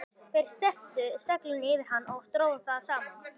Þeir steyptu seglinu yfir hann og drógu það saman.